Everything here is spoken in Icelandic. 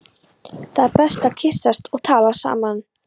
Það er betra að kyssast þannig og tala saman.